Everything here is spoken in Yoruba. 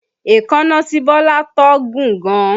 Èékánná tí Bọ́lá tọ́ gùn gan